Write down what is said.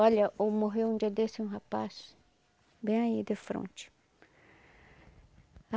Olha, morreu um dia desse um rapaz, bem aí de fronte.